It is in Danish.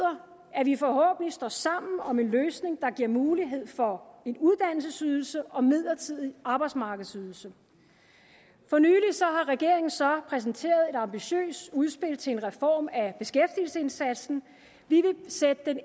at vi forhåbentlig står sammen om en løsning der giver mulighed for en uddannelsesydelse og en midlertidig arbejdsmarkedsydelse for nylig har regeringen så præsenteret et ambitiøst udspil til en reform af beskæftigelsesindsatsen vi vil sætte den